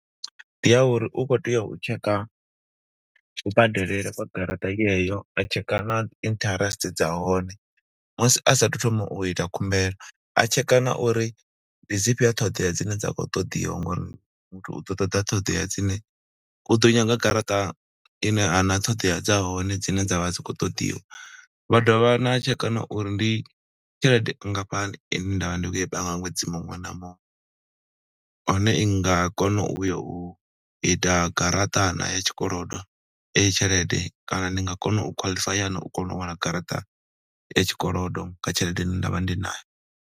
Ndi ya uri u khou tea u tshekha kubadelele kwa garaṱa yeyo, a tsheka na interest dza hone. Musi asathu thoma u ita khumbelo, a tsheka na uri ndi dzifhio ṱhoḓea dzine dza khou ṱoḓiwa ngo uri muthu u ḓo ṱoḓa ṱhoḓea dzine u ḓo nyaga garaṱa ine a na ṱhoḓea dza hone dzine dzavha dzi khou ṱoḓiwa. Vha dovha na tsheka na uri ndi tshelede nngafhani ine nda vha ndi khou i panga ṅwedzi muṅwe na muṅwe, hone i nga kona u ya u ita garaṱa naa ya tshikolodo eyi tshelede, kana ndi nga kona u qualify no u kona u wana garaṱa ya tshikolodo kha tshelede ine nda vha ndi nayo.